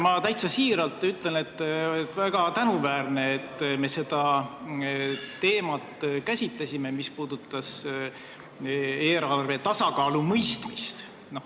Ma täitsa siiralt ütlen, et on väga tänuväärne, et me käsitlesime seda teemat, mis puudutas eelarve tasakaalu mõistmist.